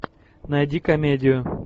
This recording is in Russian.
найди комедию